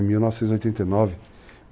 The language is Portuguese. É, em 1989.